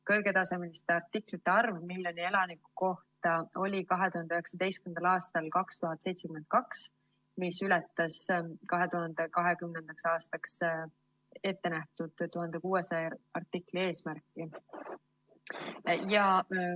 Kõrgetasemeliste artiklite arv miljoni elaniku kohta oli 2019. aastal 2072, mis ületas 2020. aastaks ettenähtud 1600 artikli eesmärki.